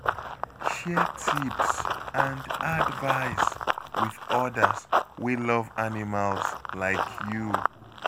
Share tips and advice with others wey love animals like you.